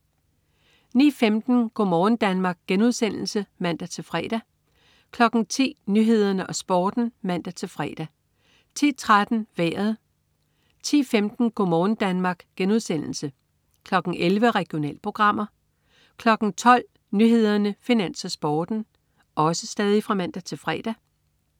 09.15 Go' morgen Danmark* (man-fre) 10.00 Nyhederne og Sporten (man-fre) 10.13 Vejret (man-fre) 10.15 Go' morgen Danmark* (man-fre) 11.00 Regionalprogrammer (man-fre) 12.00 Nyhederne, Finans, Sporten (man-fre)